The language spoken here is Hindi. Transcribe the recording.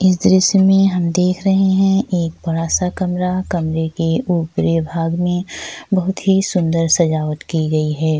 इस दृश्य मे हम देख रहे है एक बड़ा-सा कमरा कमरे के ऊपरी भाग मे बहुत ही सुन्दर सजावट की गयी है।